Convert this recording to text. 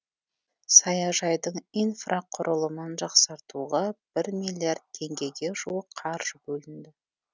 саяжайдың инфрақұрылымын жақсартуға бір миллиард теңгеге жуық қаржы бөлінді